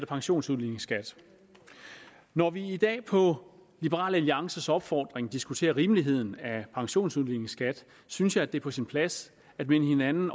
pensionsudligningsskat når vi i dag på liberal alliances opfordring diskuterer rimeligheden af pensionsudligningsskat synes jeg at det er på sin plads at minde hinanden